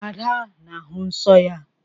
Ada na-ahụ nsọ ya.